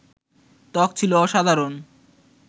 ত্বক ছিল অসাধারণ